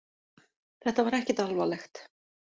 Þetta var ekkert alvarlegt